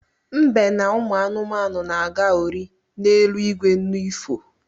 Mbe na ụmụanụ na-aga ori n’eluigwe n’ifo